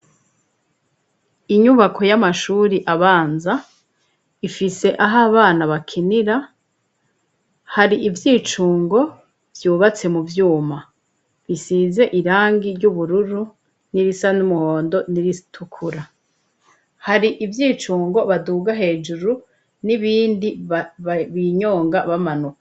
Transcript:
Inyubako y'amashuri abanza ifise aho abana bakinira hari ivyicungo vyubatse mu vyuma bisize irangi ry'ubururu n'irisa n'umuhondo n'iritukura. Hari ivyicungo baduga hejuru n'ibindi binyonga bamanuka.